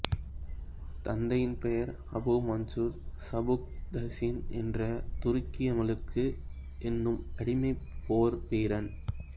தந்தையின் பெயர் Abu Mansur Sabuktigin என்ற துருக்கிய மம்லூக் எனும் அடிமைப் போர் வீரன்